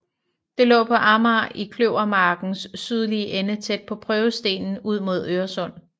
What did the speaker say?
Det lå på Amager i Kløvermarkens sydlige ende tæt på Prøvestenen ud mod Øresund